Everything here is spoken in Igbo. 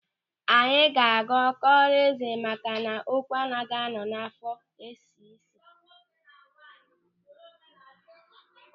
Anyị ga-aga kọọrọ eze maka na okwu anoghi adị n'àfọ esi isi.